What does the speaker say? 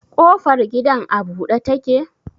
Kofar gidan a bude take?